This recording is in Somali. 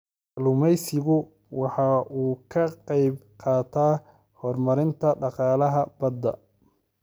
Kalluumaysigu waxa uu ka qayb qaataa horumarinta dhaqaalaha badda.